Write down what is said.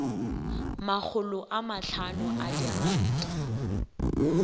makgolo a mahlano a diranta